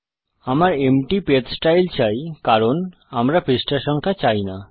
আমার empty page style চাই কারণ আমরা পৃষ্ঠা সংখ্যা চাই না